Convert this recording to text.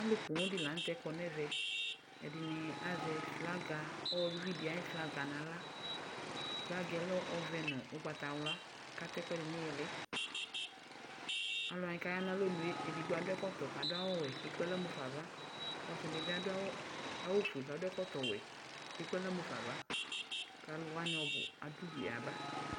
Alʋ poo di la nʋ tɛ kɔ nɛvɛ Ɛdini azɛ flaga, uvi di ayu flaga nʋ aɣla Flaga yɛ lɛ ɔvɛ nʋ ʋgbatawla kata ɛkʋɛdini nʋ ili Alʋwa kaya nʋ alɔnʋ e, ɛdigbo adʋ ɛkɔtɔ kadʋ awʋ wɛ kekple aɣla mufa ava kʋ ɔsi di bi adʋ awʋ fue kadʋ ɛkɔtɔ wɛ kekple aɣla mufa ava kʋ alʋ wani ɔbʋ adʋ udu yaba